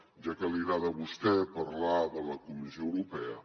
ja que li agrada a vostè parlar de la comissió europea